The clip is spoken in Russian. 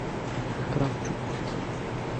кравчук